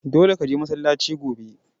Dole ka je masallaci gobe!